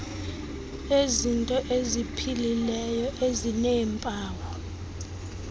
lezinto eziphilileyo ezineempawu